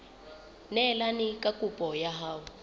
neelane ka kopo ya hao